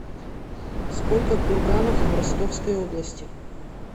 сколько курганов в ростовской области